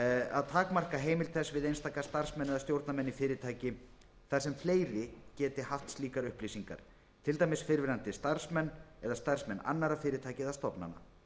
að takmarka heimild þess við einstaka starfsmenn eða stjórnarmenn í fyrirtæki þar sem fleiri geta haft slíkar upplýsingar til dæmis fyrrverandi starfsmenn eða starfsmenn annarra fyrirtækja eða stofnana